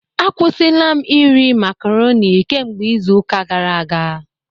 Akwụsịla m iri macroni kemgbe izu ụka gara aga